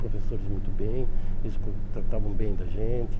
Professores muito bem, eles hum tratavam bem da gente.